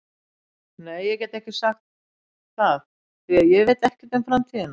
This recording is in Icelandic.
Nei, ég get ekki sagt það því að ég veit ekkert um framtíðina.